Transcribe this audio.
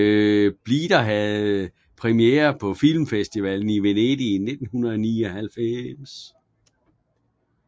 Bleeder havde premiere på Filmfestivalen i Venedig i 1999